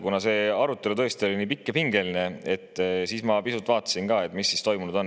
Kuna see arutelu oli tõesti pikk ja pingeline, siis ma pisut vaatasin ka, mis on toimunud.